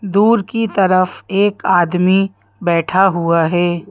दूर की तरफ एक आदमी बैठा हुआ है।